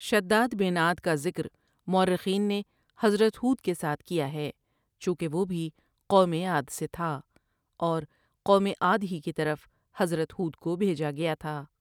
شداد بن عاد کا ذکر مؤرخین نے حضرت ہودؑ کے ساتھ کیا ہے چونکہ وہ بھی قوم عاد سے تھا اور قوم عاد ہی کی طرف حضرت ہودؑ کو بھیجا گیا تھا ۔